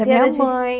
Da minha mãe.